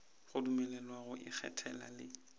go dumelelwa go ikgethela le